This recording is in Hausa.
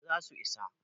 eh za su isa